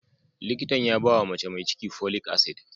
Likitan ya bawa mace mai ciki folic acid.